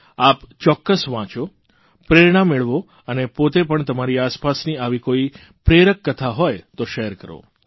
આપ ચોક્કસ વાંચો પ્રેરણા મેળવો અને પોતે પણ તમારી આસપાસની આવી કોઇ પ્રેરક કથા હોય તો શેર કરો